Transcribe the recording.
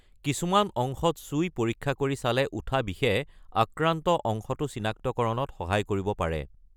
কিছুমান অংশত চুই পৰিক্ষা কৰি চালে উঠা বিষে আক্ৰান্ত অংশটো চিনাক্তকৰণত সহায়ক হ'ব পাৰে।